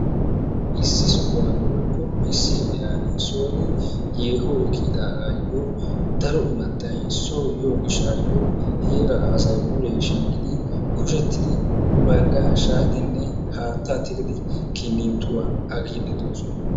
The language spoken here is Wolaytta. issi sohuwaani woykko issi ogiyaan soon yeehoy kiyidaagayoo daro immatay soo yiyoo giishayoo heraa asay mulee shiiqqidi kushshettidi banggaa shaayidinne hattaa tiigidi kinittuwaa agiiddi de'oosona.